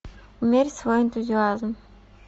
умерь свой энтузиазм